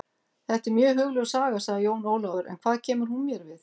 Þetta er mjög hugljúf saga, sagði Jón Ólafur, en hvað kemur hún mér við?